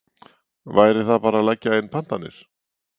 Væri það bara að leggja inn pantanir?